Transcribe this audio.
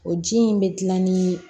O ji in bɛ gilan ni